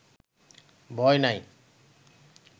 ভয় নাই